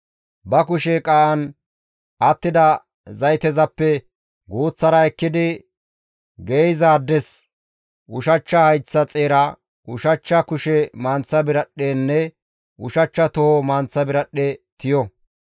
Ba kushe qaa7an attida zaytezappe guuththara ekkidi geeyzaades ushachcha hayththa xeera, ushachcha kushe manththa biradhdhenne ushachcha toho manththa biradhdhe tiyo.